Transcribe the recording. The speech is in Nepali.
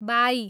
बाई